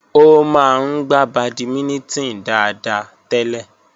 Ó máa ń gbà bàdímínítìn dáadáa tẹ́lẹ̀